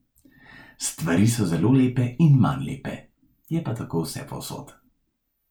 Stvari so zelo lepe in manj lepe, je pa tako vsepovsod.